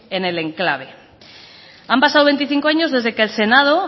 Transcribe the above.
en el enclave han pasado veinticinco años desde que el senado